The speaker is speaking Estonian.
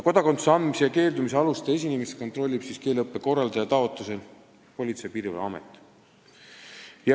Kodakondsuse andmise või sellest keeldumise aluste esinemist kontrollib keeleõppe korraldaja taotlusel Politsei- ja Piirivalveamet.